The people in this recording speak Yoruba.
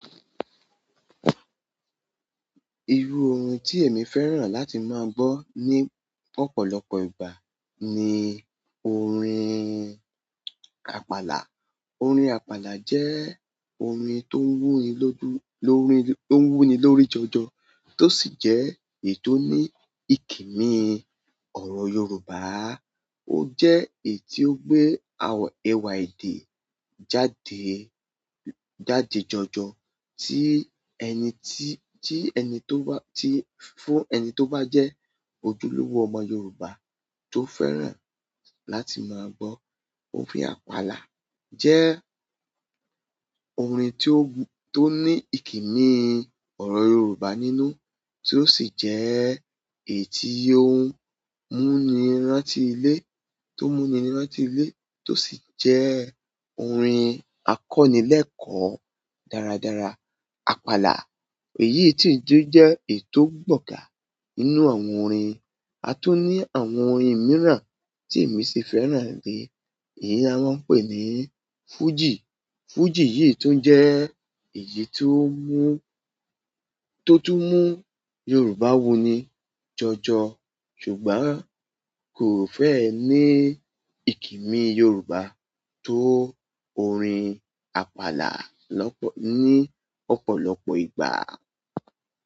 Irú orin tí èmi fẹ́ràn láti má gbọ́ ní ọ̀pọ̀lọpọ̀ ìgbà ni orin àpàlà. Orin àpàlà jẹ orin tó ń wù ni lórí, tó ń wù ni lórí jọjọ, tó sì jẹ èyí tó ní ikimi ọrọ Yoruba. Ó jẹ èyí tí o gbé ẹ̀wà èdè jáde, jáde jọjọ, ti ẹni ti, ti ẹni tó bá, ti fún ẹni tó bá jẹ ojúlówó ọmọ Yoruba tó fẹ́ràn láti má gbọ́ orin àpàlà. Jẹ orin tí o, ti ó ní ikimi ọrọ Yoruba nínú, tí o sì jẹ èyí tí múni rántí ilé, tí o mú ni rántí ilé, tí o sì jẹ orin akọni lẹẹkọ dáradára. Àpàlà, èyí tí jẹ ètò gbogà nínú àwọn orin, a tún ní àwọn orin mìíràn tí èmi ṣe fẹ́ràn rí, èyí a máa ń pè ni fújì. Fújì yìí tún jẹ èyí tí o mú, tí o tún mú Yoruba wù ni jọjọ, ṣùgbọ́n kò fẹẹ ní ikimi Yoruba tó orin àpàlà lọ́pọ̀, ni ọ̀pọ̀lọpọ̀ ìgbà.